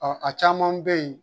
Ɔɔ a caman be yen